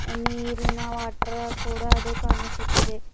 ನೀರಿನ ವಾಟರ್ ಕೂಡ ಅದು ಕಾಣಿಸುತಿದೆ.